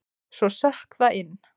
Svo sökk það inn.